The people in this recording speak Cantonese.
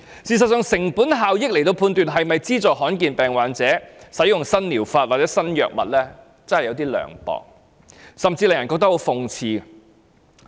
事實上，以成本效益來判斷是否資助罕見疾病患者使用新療法或新藥物，真是有點涼薄，甚至令人覺得很諷刺。